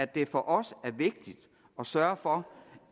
det for os er vigtigt at sørge for